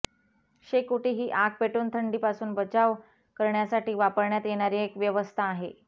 शेकोटी ही आग पेटवून थंडीपासून बचाव करण्यासाठी वापण्यात येणारी एक व्यवस्था आहे